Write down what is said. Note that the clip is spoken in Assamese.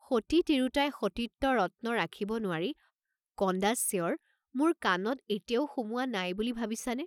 সতী তিৰোতাই সতীত্ব ৰত্ন ৰাখিব নোৱাৰি কন্দা চিঁয়ৰ মোৰ কাণত এতিয়াও সোমোৱা নাই বুলি ভাবিছা নে?